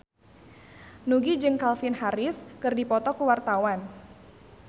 Nugie jeung Calvin Harris keur dipoto ku wartawan